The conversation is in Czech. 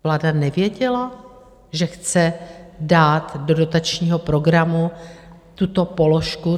Vláda nevěděla, že chce dát do dotačního programu tuto položku?